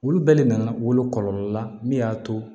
Olu bɛɛ le nana wolo kɔlɔlɔ la min y'a to